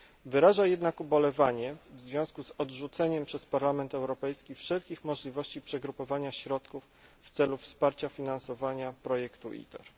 Wyraża jednak ubolewanie w związku z odrzuceniem przez Parlament Europejski wszelkich możliwości przegrupowania środków w celu wsparcia finansowania projektu ITER.